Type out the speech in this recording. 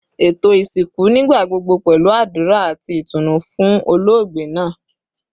Eto isinku nigbagbogbo pẹlu adura ati itunu fun ologbe naa